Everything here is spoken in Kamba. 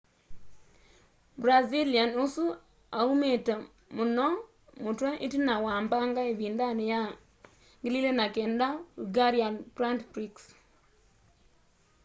brazilian ũsu aũmĩĩte mũno mũtwe ĩtina wa mbanga ĩvĩndanĩ ya 2009 hungarian grand prix